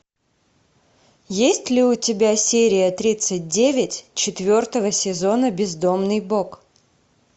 есть ли у тебя серия тридцать девять четвертого сезона бездомный бог